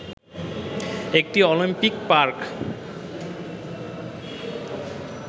একটি Olympic park